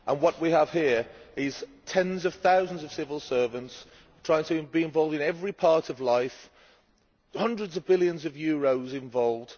What we have here is tens of thousands of civil servants trying to be involved in every part of life, with hundreds of billions of euros involved.